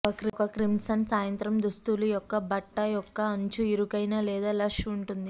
ఒక క్రిమ్సన్ సాయంత్రం దుస్తులు యొక్క బట్ట యొక్క అంచు ఇరుకైన లేదా లష్ ఉంటుంది